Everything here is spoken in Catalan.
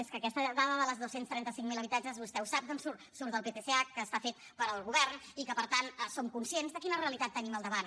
és que aquesta dada dels dos cents i trenta cinc mil habitatges vostè ho sap d’on surt surt del ptsh que està fet pel govern i que per tant som conscients de quina realitat tenim al davant